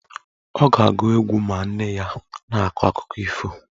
Ọ ga-agụ egwu ma nne ya na-akọ akụkọ ifo.